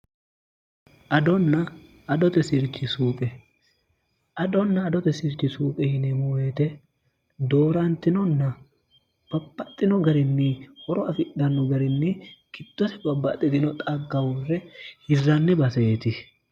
dondoeirhiqeadonna adote sirchi suuqe yine muueete doorantinonna bapaxxino garinni horo afidhanno garinni kittose babbaxxitino xaggahurre hirranni baseeti